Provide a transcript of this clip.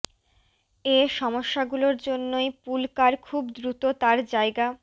এ সমস্যাগুলোর জন্যই pool car খুব দ্রুত তার জায়গা